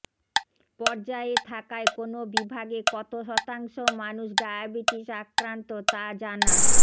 পর্যায়ে থাকায় কোন বিভাগে কত শতাংশ মানুষ ডায়াবেটিস আক্রান্ত তা জানা